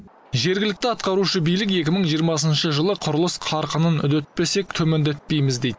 жергілікті атқарушы билік екі мың жиырмасыншы жылы құрылыс қарқынын үдетпесек төмендетпейміз дейді